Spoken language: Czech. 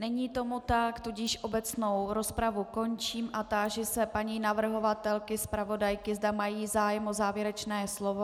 Není tomu tak, tudíž obecnou rozpravu končím a táži se paní navrhovatelky, zpravodajky, zda mají zájem o závěrečné slovo.